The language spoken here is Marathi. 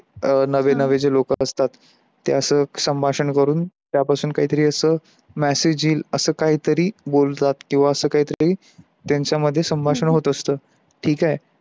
अ नवे नवे जे लोक असतात, त्यांच संभाषण करून त्या पासून काही तरी अस message येईल अस काही तरी बोलतात कीव अस काही तरी त्यांच्या मध्ये संभाषण होत असत. ठीक आहे